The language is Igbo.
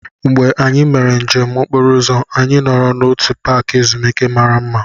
Mgbe anyị mere njem okporo ụzọ, anyị nọrọ n'otu paaki ezumike mara mma.